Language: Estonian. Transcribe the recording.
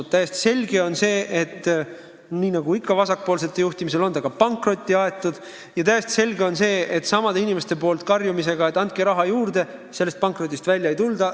On täiesti selge, et nii nagu ikka vasakpoolsete juhtimisel, on see pankrotti aetud, ja täiesti selge on ka see, et samade inimeste karjumise peale, et andke raha juurde, sellest pankrotist välja ei tulda.